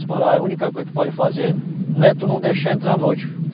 Seu Pará, a única coisa que tu pode fazer, não é tu não deixar entrar à noite.